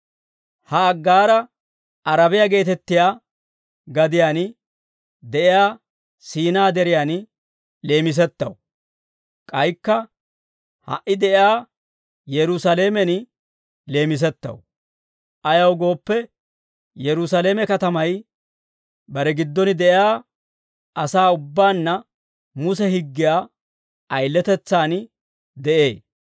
Ha Aggaara Arabiyaa geetettiyaa gadiyaan de'iyaa Siinaa Deriyaan leemisettaw; k'aykka ha"i de'iyaa Yerusaalamen leemisettaw; ayaw gooppe, Yerusaalame katamay bare giddon de'iyaa asaa ubbaanna Muse higgiyaa ayiletetsaan de'ee.